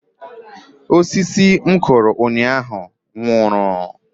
Osisi m kụrụ ụnyaahụ nwụrụ